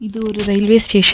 இது ஒரு railway station .